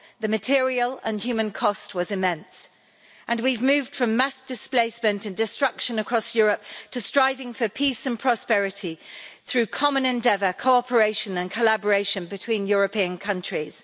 The material and human cost was immense, and we've moved from mass displacement and destruction across Europe to striving for peace and prosperity through common endeavour, cooperation and collaboration between European countries.